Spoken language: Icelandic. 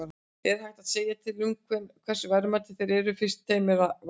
En er hægt að segja til um hversu verðmætir þeir eru, fyrst þeim var rænt?